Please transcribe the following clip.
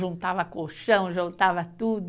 juntava colchão, juntava tudo.